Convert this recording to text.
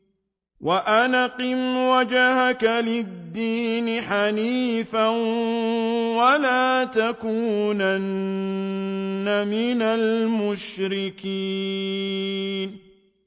وَأَنْ أَقِمْ وَجْهَكَ لِلدِّينِ حَنِيفًا وَلَا تَكُونَنَّ مِنَ الْمُشْرِكِينَ